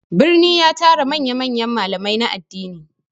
Birni ya tara manya-manyan malamai na addini.